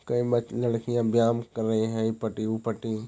कई लड़कियां व्यायाम कर रही है ]